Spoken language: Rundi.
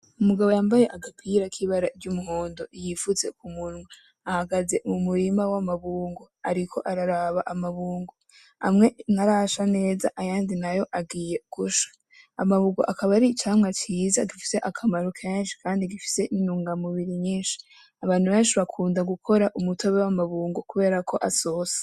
Umugabo yambaye agapira k'ibara ry'umuhondo yifutse kumunwa ahagaze mu murima w'amabungo ariko araraba amabungo, amwe ntarasha neza ayandi nayo agiye gusha, amabungo akaba ari icamwa ciza gifise akamaro kenshi kandi gifise intungamubiri nyinshi, abantu benshi bakunda gukora umutobe w'amabungo kubera ko asosa.